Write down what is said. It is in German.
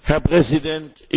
Herr Präsident!